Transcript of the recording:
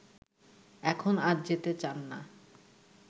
এখন আর যেতে চান না